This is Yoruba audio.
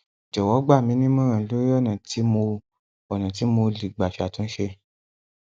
jọwọ gbà mí nímọràn lórí ọnà tí mo ọnà tí mo lè gbà ṣàtúnṣe